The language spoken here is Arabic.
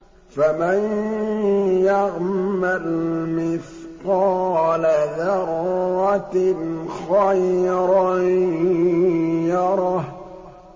فَمَن يَعْمَلْ مِثْقَالَ ذَرَّةٍ خَيْرًا يَرَهُ